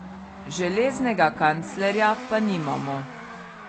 Železnega kanclerja pa nimamo.